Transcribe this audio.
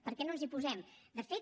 per què no ens hi posem de fet